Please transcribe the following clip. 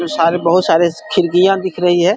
जो सारे बहोत सारे खिड़कियां दिख रही है।